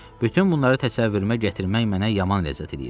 Bütün bunları təsəvvürüümə gətirmək mənə yaman ləzzət eləyirdi.